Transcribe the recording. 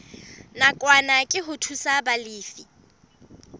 nakwana ke ho thusa balefi